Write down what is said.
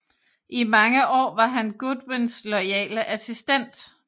I mange år var han Godwyns loyale assistent